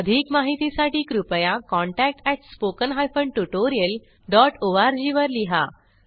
अधिक माहितीसाठी कृपया contactspoken tutorialorg वर लिहा